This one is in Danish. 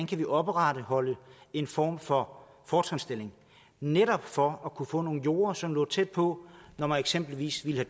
kan opretholde en form for fortrinsstilling netop for at man kunne få nogle jorder som lå tæt på når man eksempelvis ville